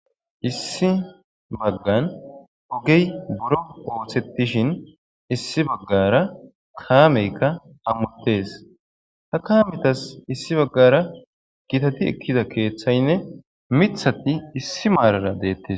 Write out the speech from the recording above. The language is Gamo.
Issi bagan ogey buro osetishin issi bagara kameyka hamutes kametas issi bagara gittati ekida kethayne mithati issi marara detes